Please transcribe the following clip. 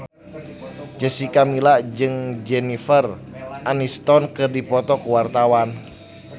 Jessica Milla jeung Jennifer Aniston keur dipoto ku wartawan